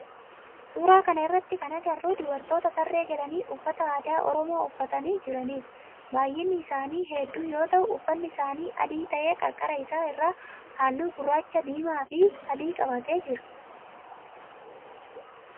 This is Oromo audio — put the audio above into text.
Suuraa kana irratti kana agarru dubartoota tarree galanii uffata aadaa oromoo uffatanii jiranidha. Baayyinni isaani heddu yoo ta'u uffanni isaanii adii ta'ee qarqara isaa irraa halluu gurraacha, diimaa fi adii qabatee. jira